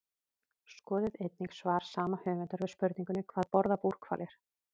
Skoðið einnig svar sama höfundur við spurningunni Hvað borða búrhvalir?